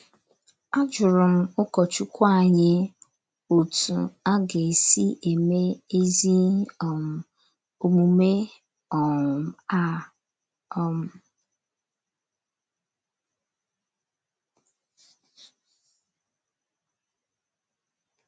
A jụrụ m ụkọchukwu anyị otú a ga - esi eme ezi um omume um a um.